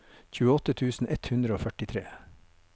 tjueåtte tusen ett hundre og førtitre